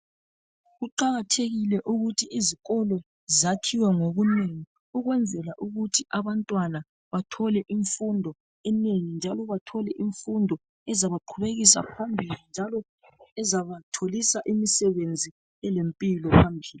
Kuqakathekile ukuthi izikolo zakhiwe ngobunengi ukwenzela ukuthi abantwana bathole imfundo enengi njalo bathole imfundo ezabaqhubekisa phambili njalo ezabatholisa imisebenzi elempilo phambili.